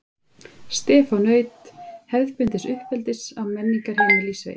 Stefán naut hefðbundins uppeldis á menningarheimili í sveit.